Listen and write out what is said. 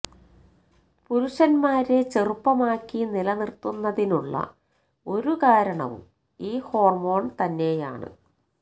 പുരുഷന്മാരെ ചെറുപ്പമാക്കി നില നിര്ത്തുന്നതിനുള്ള ഒരു കാരണവും ഈ ഹോര്മോണ് തന്നെയാണ്